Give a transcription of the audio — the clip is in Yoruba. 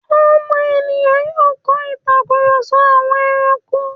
ọmọ ènìyàn yóò kọ́ ìtakùrọ̀sọ àwọn ẹrankó.